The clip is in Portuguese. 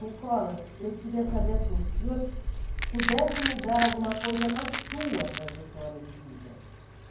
Nicolas, eu queria saber se o senhor pudesse mudar alguma coisa na sua trajetória de vida.